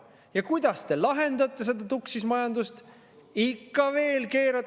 Ja kuidas te lahendate seda tuksis majandust?